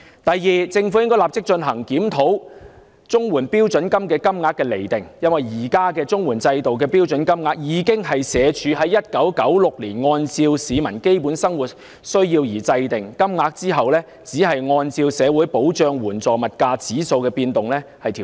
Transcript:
第二，政府應立即檢討綜援標準金額，因為綜援制度現時的標準金額，是社會福利署在1996年按照市民的基本生活需要而釐定，其後只是按照社會保障援助物價指數的變動作調整。